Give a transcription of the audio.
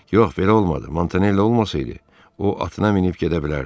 Yox, belə olmadı, Montanella olmasaydı, o atına minib gedə bilərdi.